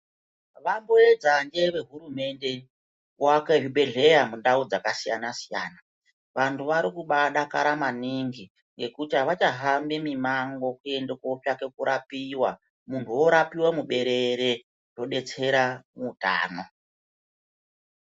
Vanoedza vehurumende kuvaka zvibhedhlera Mundau dzakasiyana siyana vantu vari kubadakara maningi ngekuti avachahambi koitsvaka kurapiwa muntu orapiwa kutsvakiwa Hutano.